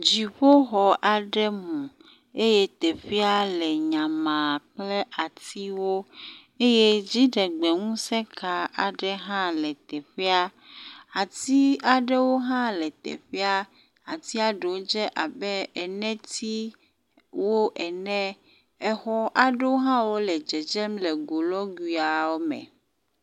Dziƒoxɔ aɖe mu eye teƒea le nyama kple atiwo eye dziɖegbe ŋuseka aɖe hã le teƒea. Ati aɖewo hã le teƒea. Atia ɖewo dze abe enetsiwo ene. Exɔ aɖewo hã wo le dzedzem le golɔguiawo me.